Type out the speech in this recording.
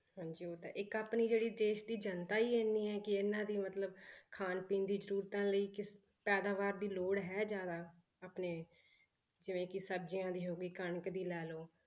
ਹਾਂਜੀ ਉਹ ਤਾਂ ਹੈ ਇੱਕ ਆਪਣੀ ਜਿਹੜੀ ਦੇਸ ਦੀ ਜਨਤਾ ਹੀ ਇੰਨੀ ਹੈ ਕਿ ਇਹਨਾਂ ਦੀ ਮਤਲਬ ਖਾਣ ਪੀਣ ਦੀ ਜ਼ਰੂਰਤਾਂ ਲਈ ਕਿ ਪੈਦਾਵਾਰ ਦੀ ਲੋੜ ਹੈ ਜ਼ਿਆਦਾ ਆਪਣੇ, ਜਿਵੇਂ ਕਿ ਸਬਜ਼ੀਆਂ ਦੀ ਹੋ ਗਈ ਕਣਕ ਦੀ ਲਾ ਲਓ